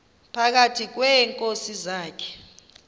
phakathi kweenkosi zakhe